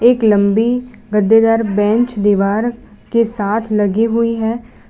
एक लंबी गद्देदार बेंच दीवार के साथ लगी हुई है।